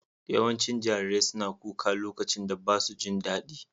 Yawancin jarirai suna kuka lokacin da ba su jin daɗi.